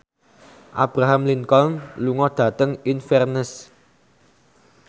Abraham Lincoln lunga dhateng Inverness